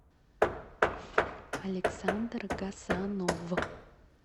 александр гасанов